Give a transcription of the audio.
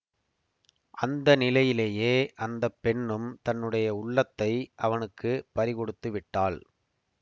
அந்த நிலையிலேயே அந்த பெண்ணும் தன்னுடைய உள்ளத்தை அவனுக்கு பறிகொடுத்து விட்டாள்